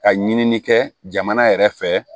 Ka ɲini kɛ jamana yɛrɛ fɛ